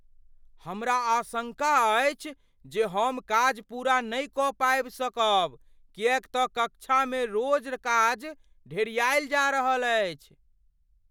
हमरा आशङ्का अछि जे हम काज पूरा नहि कऽ पाबि सकब किएक तँ कक्षामे रोज काज ढेरिआयल जा रहल अछि ।